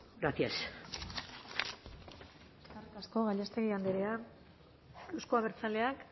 cargada de futuro gracias eskerrik asko gallástegui andrea euzko abertzaleak